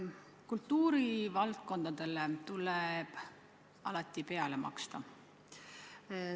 Kultuurivaldkondadele tuleb alati peale maksta.